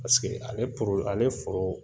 Paseke ale ale foro.